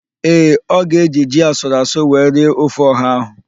Ee, ọ ga-eji ji asụrụasụ wee rie ofe ọha ahụ.